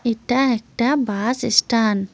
এটা একটা bus stand.